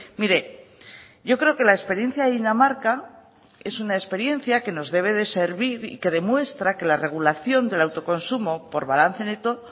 mire yo creo que la experiencia de dinamarca es una experiencia que nos debe de servir y que demuestra que la regulación del autoconsumo por balance neto